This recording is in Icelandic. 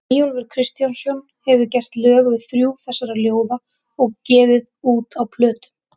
Eyjólfur Kristjánsson hefur gert lög við þrjú þessara ljóða og gefið út á plötum.